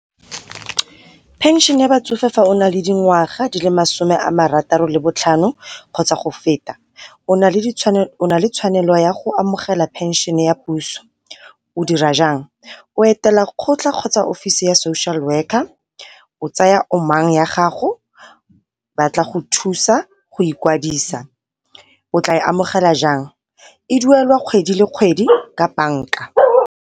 Pension ya batsofe fa o nale dingwaga di le masome a marataro le botlhano kgotsa go feta, o nale tshwanelo ya go amogela pension ya puso. O dira jang? O etela kgotlha kgotsa office ya social worker, o tsaya omang ya gago ba tla go thusa go ikwadisa. O tla e amogela jang? E duelwa kgwedi le kgwedi ka banka.